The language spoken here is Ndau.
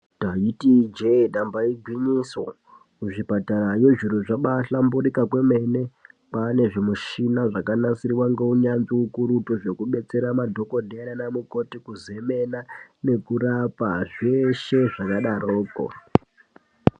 Ndaiti Ije damba igwinyiso kuzvipatarayo zviro zvabahlamburuka kwane zvimushina zvabahlamburuka neunyanzvi ukurutu zvekudetsera madhokodheya kuzemena nekurapa zveshe.